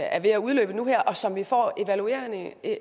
er ved at udløbe nu her og som vi får evalueringen af